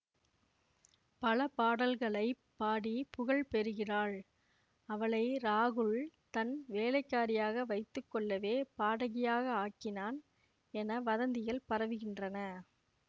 பல பாடல்களை பாடி புகழ் பெறுகிறாள் அவளை ராகுல் தன் வேலைக்காரியாக வைத்து கொள்ளவே பாடகியாக ஆக்கினான் என வதந்திகள் பரவுகின்றன